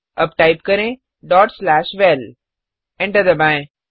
अब टाइप करें val enter दबाएँ